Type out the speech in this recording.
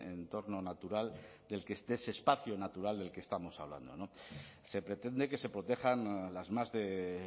entorno natural de ese espacio natural del que estamos hablando se pretende que se protejan las más de